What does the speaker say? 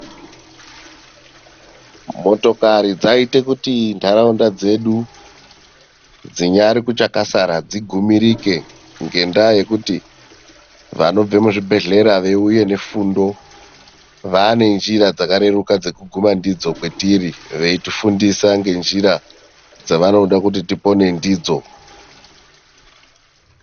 Motokari dzayita kuti ndaraunda dzedu dzinyari kuchakasara dzigumirike ngendaa yekuti vanobva muzvibhedhlera veyiuya nefundo. Vaanenjira dzakareruka dzekuguma ndidzo kwetiri. Veyitifundisa ngenjira dzavanoda kuti tipone ndidzo.